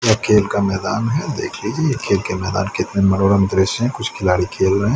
यह खेल का मैदान है देख लीजिए खेल के मैदान के अंदर मनोरम दृश्य है कुछ खिलाड़ी खेल रहे --